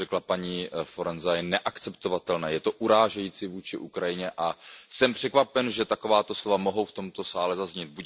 To, co řekla paní Forenza, je neakceptovatelné, je to urážející vůči Ukrajině a jsem překvapen, že takováto slova mohou v tomto sále zaznít.